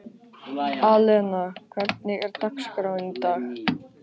Alena, hvernig er dagskráin í dag?